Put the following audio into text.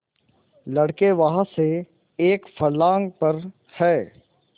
लड़के वहाँ से एक फर्लांग पर हैं